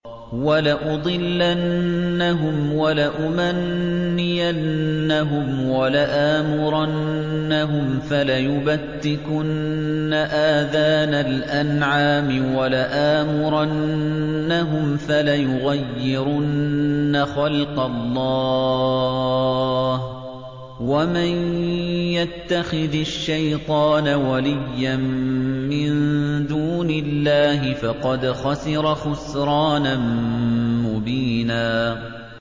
وَلَأُضِلَّنَّهُمْ وَلَأُمَنِّيَنَّهُمْ وَلَآمُرَنَّهُمْ فَلَيُبَتِّكُنَّ آذَانَ الْأَنْعَامِ وَلَآمُرَنَّهُمْ فَلَيُغَيِّرُنَّ خَلْقَ اللَّهِ ۚ وَمَن يَتَّخِذِ الشَّيْطَانَ وَلِيًّا مِّن دُونِ اللَّهِ فَقَدْ خَسِرَ خُسْرَانًا مُّبِينًا